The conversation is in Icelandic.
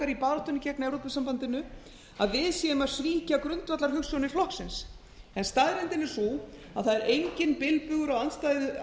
í baráttunni gegn evrópusambandinu að við séum að svíkja grundvallarhugsjónir flokksins staðreyndin er sú að það er enginn bilbugur á